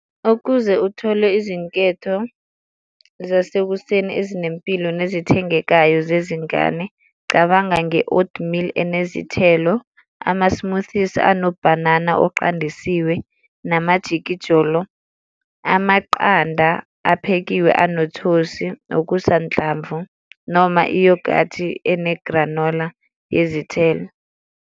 Ukuze uthole izinketho zasekuseni ezinempilo nezithengekayo zezingane, cabanga nge-old meal enezithelo, amasimuthisi anobhanana oqandisiwe namajikijolo, amaqanda aphekiwe anothosi, okusanhlamvu, noma iyogathi enegranola yezithelo.